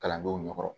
Kalandenw ɲɛkɔrɔ